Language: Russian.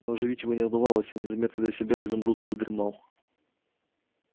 но оживить его не удавалось и незаметно для себя изумруд задремал